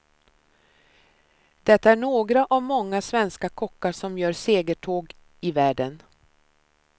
Det är några av många svenska kockar som gör segertåg i världen.